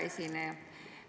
Hea esineja!